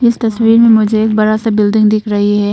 इस तस्वीर में मुझे एक बड़ा सा बिल्डिंग दिख रही है।